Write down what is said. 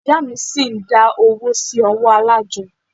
Ìyá mí ṣi ń dá owó sí ọwọ́ alájọ́.